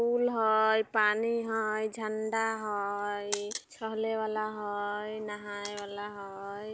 पुल हेय पानी हेय झंडा हेय खेले वाला हेय नहाय वाला हेय।